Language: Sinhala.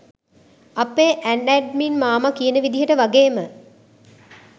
අපේ ඇන්ඇඩ්මින් මාමා කියන විදිහට වගේම